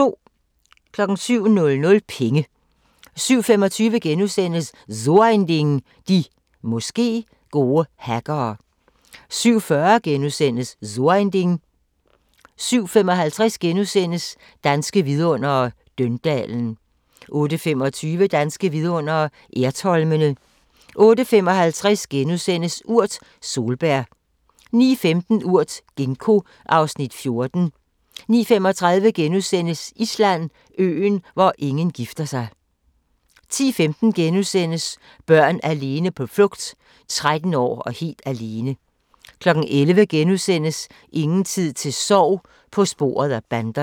07:00: Penge 07:25: So ein Ding: De – måske – gode hackere * 07:40: So ein Ding * 07:55: Danske Vidundere: Døndalen * 08:25: Danske Vidundere: Ertholmene 08:55: Urt: Solbær * 09:15: Urt: Ginkgo (Afs. 14) 09:35: Island: Øen, hvor ingen gifter sig * 10:15: Børn alene på flugt: 13 år og helt alene * 11:00: Ingen tid til sorg – på sporet af banderne *